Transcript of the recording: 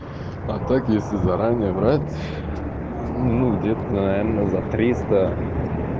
а так если заранее брать ну где-то наверное за триста